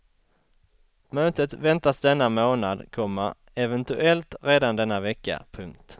Mötet väntas denna månad, komma eventuellt redan denna vecka. punkt